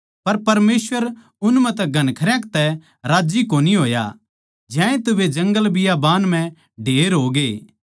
पर परमेसवर उन म्ह तै घणखरयां तै राज्जी कोन्या होया ज्यांतै वे जंगलबियाबान म्ह ढेर होग्ये